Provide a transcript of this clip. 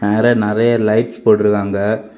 மேல நெறைய லைட்ஸ் போட்ருக்காங்க.